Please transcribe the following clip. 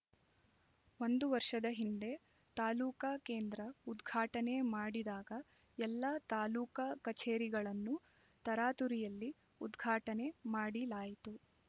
ಒಂದು ವರ್ಷದ ಹಿಂದೆ ತಾಲೂಕಾ ಕೇಂದ್ರ ಉದ್ಘಾಟನೆ ಮಾಡಿದಾಗ ಎಲ್ಲಾ ತಾಲೂಕಾ ಕಚೇರಿಗಳನ್ನು ತರಾತುರಿಯಲ್ಲಿ ಉದ್ಘಾಟನೆ ಮಾಡಿ ಲಾಯಿತು